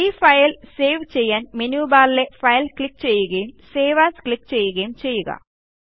ഈ file save ചെയ്യാൻ menu ബാറിലെ ഫൈൽ ക്ലിക്ക് ചെയ്യുകയും സേവ് എഎസ് ക്ലിക്ക് ചെയ്യുകയും ചെയ്യുക